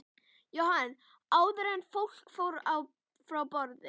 Jóhann: Áður en fólk fór frá borði?